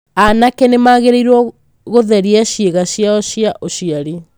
Anake nĩ magĩrĩirũo gũtheria ciĩga ciao cia ũciari.